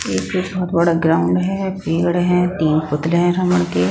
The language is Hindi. एक बहोत बड़ा ग्राउंड है पेड़ है तीन बकरे है --